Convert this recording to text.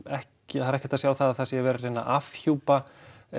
ekki hægt að sjá að það sé verið að afhjúpa